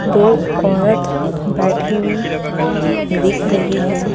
दो औरत बैठी हुई दिख रही हैं।